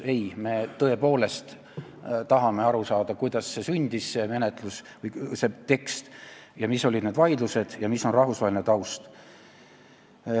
Ei, me tõepoolest tahame aru saada, kuidas see tekst sündis, mis olid need vaidlused ja milline on rahvusvaheline taust.